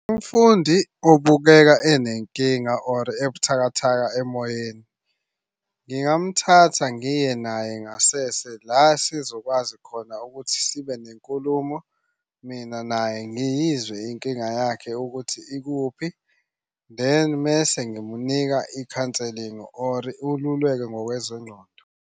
Umfundi ubukeka enenkinga or ebuthakathaka emoyeni. Ngingamthatha ngiye naye ngasese, la sizokwazi khona ukuthi sibe nenkulumo mina naye. Ngiyizwe inkinga yakhe ukuthi ikuphi then mese ngimnika i-counseling or ululeko ngokwezengqondo.